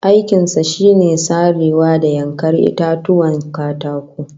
Aikin sa shine sarewa da yankar itatuwan katako